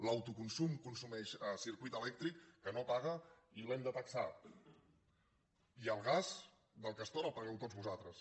l’autoconsum consumeix circuit elèctric que no paga i l’hem de taxar i el gas del castor el pagueu tots vosaltres